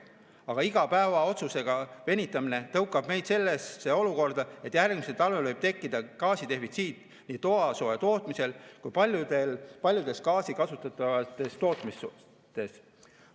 Aga iga päev otsusega venitamist tõukab meid sellesse olukorda, et järgmisel talvel võib tekkida gaasidefitsiit nii toasooja tootmisel kui paljudes gaasi kasutavates tootmistes.